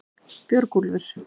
Björgúlfur